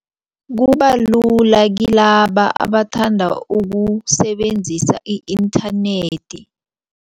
Kubalula kilaba abathanda ukusebenzisa i-internet.